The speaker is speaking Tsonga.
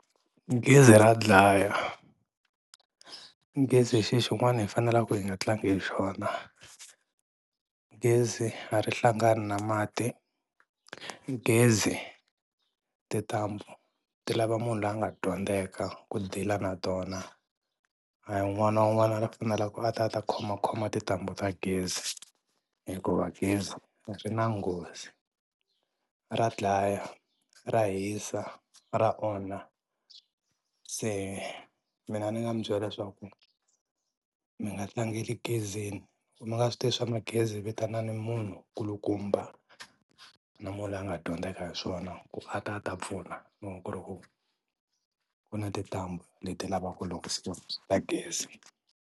Gezi ra dlaya, gezi i xi xin'wana hi fanelaka hi nga tlangi hi xona, gezi a ri hlangani na mati, gezi tintambu ti lava munhu la nga dyondzeka ku deal-a na tona a hi un'wana na un'wana a fanela ku a ta khomakhoma tintambu ta gezi hikuva gezi ri na nghozi. Ra dlaya, ra hisa, ra onha se mina ndzi nga mi byela leswaku mi nga tlangeli gezini loko mi nga swi tivi swa magezi vitanani munhu kulukumba na munhu la nga dyondzeka hi swona ku a ta a ta pfuna loko ku ri ku ku na tintambu leti lavaka ku lunghisiwa ta gezi.